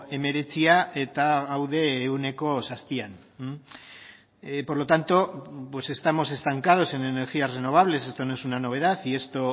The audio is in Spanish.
hemeretzia eta gaude ehuneko zazpian por lo tanto pues estamos estancados en energías renovables esto no es una novedad y esto